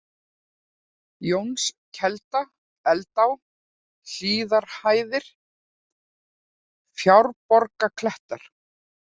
Jónskelda, Eldá, Hlíðarhæðir, Fjárborgarklettar